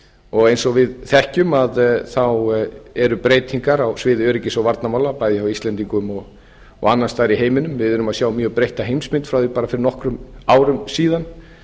og eins og við þekkjum eru breytingar á sviði öryggis og varnarmála bæði hjá íslendingum og annars staðar í heiminum við erum að sjá mjög breytta heimsmynd frá því bara fyrir nokkrum árum síðan